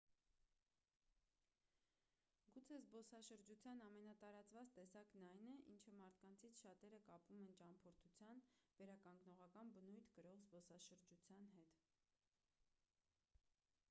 գուցե զբոսաշրջության ամենատարածված տեսակն այն է ինչը մարդկանցից շատերը կապում են ճամփորդության վերականգնողական բնույթ կրող զբոսաշրջության հետ